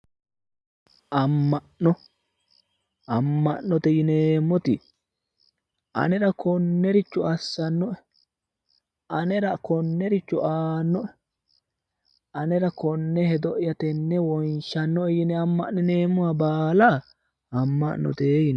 amma'no amma'note yineemmoti anera konnericho assannoe anera konnericho aannoe anera konne hedo'ya tenne wonshannoe yine amma'nineemmoha baala amma'note yineemmo.